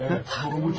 Mən söylədim.